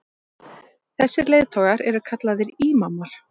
þessir leiðtogar eru kallaðir ímamar